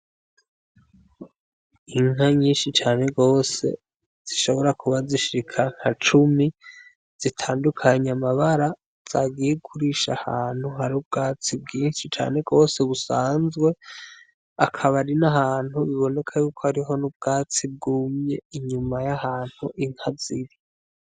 Inka nyishi cane gose zishobora kuba zishika nka cumi zitandukanye amabara zagiye kurisha ahantu hari ubwatsi bwishi cane gose busanzwe akaba ari n'ahantu biboneka yuko hariho n'ubwatsi bwumye inyuma y'ahantu inka ziri.